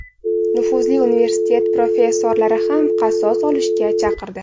Nufuzli universitet professorlari ham qasos olishga chaqirdi.